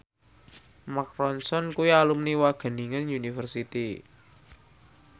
Mark Ronson kuwi alumni Wageningen University